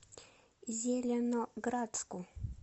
зеленоградску